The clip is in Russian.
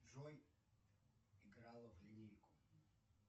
джой играла в линейку